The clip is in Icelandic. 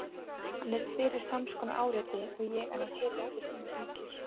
Hann yrði fyrir sams konar áreiti og ég en hann heyrði ekki að síminn hringir.